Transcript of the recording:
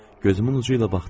Gözümün ucu ilə baxdım.